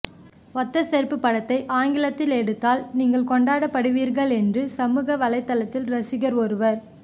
ஒத்த செருப்பு படத்தை ஆங்கிலத்தில் எடுத்தால் நீங்கள் கொண்டாடப்படுவீர்கள் என்று சமூக வலைத்தளத்தில் ரசிகர் ஒருவர்